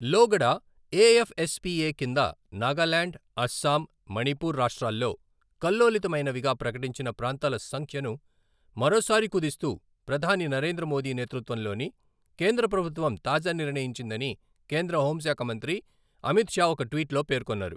లోగడ ఎఎఫ్ఎస్పిఎ కింద నాగాలాండ్, అస్సాం, మణిపూర్ రాష్ట్రాల్లో కల్లోలితమైనవిగా ప్రకటించిన ప్రాంతాల సంఖ్యను మరోసారి కుదిస్తూ ప్రధాని నరేంద్ర మోదీ నేతృత్వంలోని కేంద్ర ప్రభుత్వం తాజా నిర్ణయించిందని కేంద్ర హోంశాఖ మంత్రి అమిత్ షా ఒక ట్వీట్లో పేర్కొన్నారు.